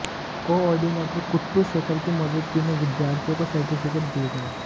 coordinator Kuttu Shekhar की मौजूदगी में विद्यार्थियों को सर्टिफिकेट दिए गए